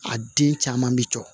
A den caman bi cɔ